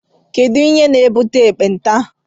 Kedụ ihe na-ebute ekpenta?